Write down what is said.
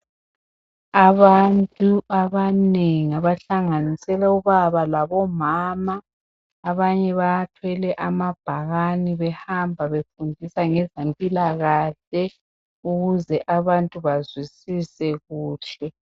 Abantu abanengi abahlanganisela obaba labomama abanye bathwele amabhakane behambe befundisa ngezempilakahle ukuze abantu bazwisise kuhle.